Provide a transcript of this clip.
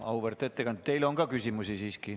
Auväärt ettekandja, teile on ka küsimusi.